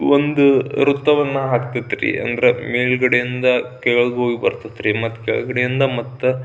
ಒಂದು ವೃತ್ತವನ್ನು ಹಖ್ತೈತೆ ರೀ ಅಂದ್ರ ಮೇಲ್ಗಡೆ ಇಂದ ಕೆಳಗೆ ಹೋಗಿ ಬರ್ತಾಇತ್ರಿ ಕೆಳಗಡೆ ಇಂದ ಮತ್ತ --